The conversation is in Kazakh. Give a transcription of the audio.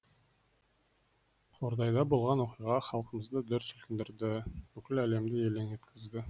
қордайда болған оқиға халқымызды дүр сілкіндірді бүкіл әлемді елең еткізді